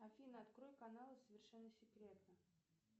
афина открой каналы совершенно секретно